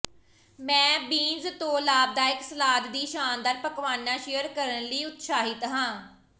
ਮੈਂ ਬੀਨਜ਼ ਤੋਂ ਲਾਭਦਾਇਕ ਸਲਾਦ ਦੀ ਸ਼ਾਨਦਾਰ ਪਕਵਾਨਾ ਸ਼ੇਅਰ ਕਰਨ ਲਈ ਉਤਸ਼ਾਹਿਤ ਹਾਂ